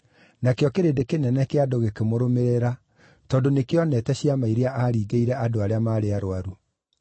nakĩo kĩrĩndĩ kĩnene kĩa andũ gĩkĩmũrũmĩrĩra tondũ nĩkĩoneete ciama iria aaringĩire andũ arĩa maarĩ arũaru.